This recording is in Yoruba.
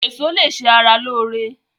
Eso lè ṣe ara lóore.